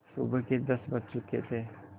सुबह के दस बज चुके थे